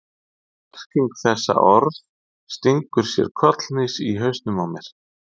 Og merking þessa orðs stingur sér kollhnís í hausnum á mér.